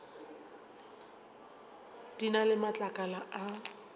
di na le matlakala a